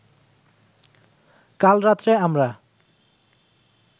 কার রাত্রে আমরা